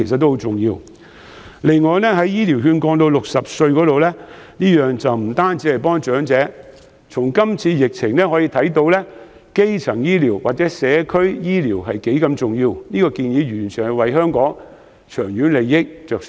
此外，醫療券合資格年齡降至60歲的建議並非只是幫助長者，因為這次疫情反映了基層醫療和社區醫療的重要性，我提出這項建議完全是為香港的長遠利益着想。